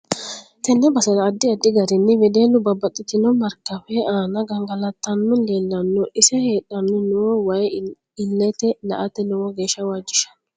Tenne basera addi addi garinni wedellu babbaxitinno markkawe aanna gangalatanni leelanno ise hadhani noo wayi illete la'ate lowo geesha waajishanno